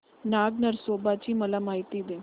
नाग नरसोबा ची मला माहिती दे